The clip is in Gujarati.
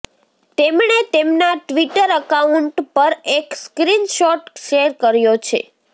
તેમણે તેમના ટ્વિટર એકાઉન્ટ પર એક સ્ક્રીન શોટ શેર કર્યો છે